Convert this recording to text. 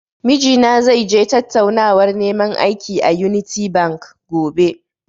Mijina zai je tattaunawar neman aiki, a "Unity bank", gobe.